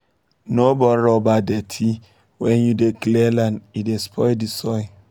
no burn rubber dirty when you dey clear land e dey spoil the soil